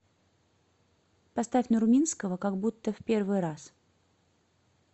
поставь нурминского как будто в первый раз